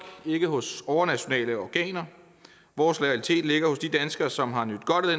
ikke hos overnationale organer vores loyalitet ligger hos de danskere som har nydt godt af